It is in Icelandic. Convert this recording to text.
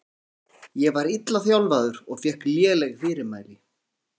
Ég var illa þjálfaður og fékk léleg fyrirmæli.